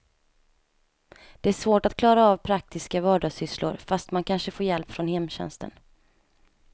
Det är svårt att klara av praktiska vardagssysslor fast man kanske får hjälp från hemtjänsten.